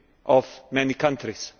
of many countries.